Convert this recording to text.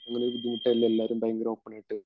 അങ്ങനെ ഒരു ബുദ്ധിമുട്ടില്ല എല്ലാവരും ഭയങ്കര ഓപ്പണായിട്ട്